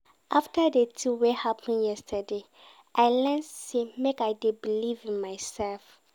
After di tin wey happen yesterday, I learn sey make I dey believe in mysef.